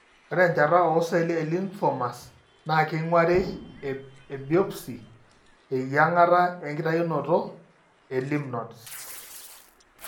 Ore enchata ooceelli elymphomas naa keing'urari ebiopsy (eyieng'ata enkitainoto) elymph nodes.